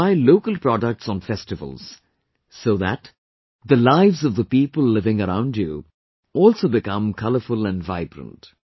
You should buy local products on festivals, so that the lives of the people living around you also become colourful and vibrant